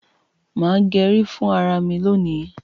má gé rí fún àrà mí lóni.